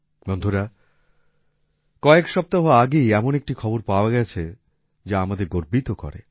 বন্ধুরা কয়েক সপ্তাহ আগেই এমন একটি খবর পাওয়া গেছে যা আমাদের গর্বিত করে